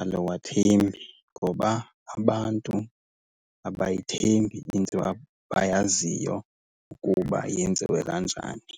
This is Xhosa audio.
aluwathembi ngoba abantu abayithembi into abayaziyo ukuba yenziwe kanjani.